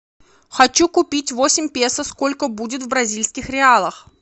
хочу купить восемь песо сколько будет в бразильских реалах